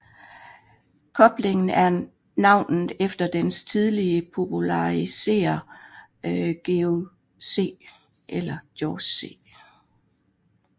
Koblingen er navngivet efter dens tidlige populariserer George C